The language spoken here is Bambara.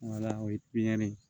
Wala o ye piyini ye